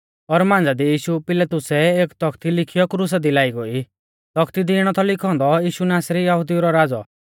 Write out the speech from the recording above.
पिलातुसै एक तौखती लिखीयौ क्रुसा दी लाई गोई तौखती दी इणौ थौ लिखौ औन्दौ यीशु नासरी यहुदिऊ रौ राज़ौ